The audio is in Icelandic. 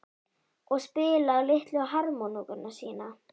Og spila á litlu harmónikkuna sína?